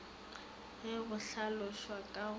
ge go hlalošwa ka go